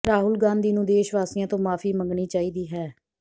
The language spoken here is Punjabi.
ਰਾਹੁਲ ਗਾਂਧੀ ਨੂੰ ਦੇਸ਼ਵਾਸੀਆਂ ਤੋਂ ਮਾਫੀ ਮੰਗਣੀ ਚਾਹੀਦੀ ਹੈ